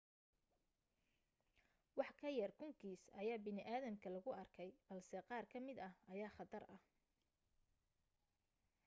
wax ka yar kun kiis ayaa bini aadamka lagu arkay balse qaar ka mid ah ayaa khatar ah